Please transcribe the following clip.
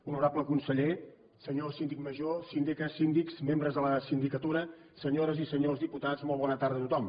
honorable conseller senyor síndic major síndica síndics membres de la sindicatura senyores i senyors diputats molt bona tarda a tothom